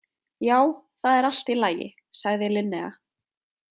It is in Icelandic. Já, það er allt í lagi, sagði Linnea.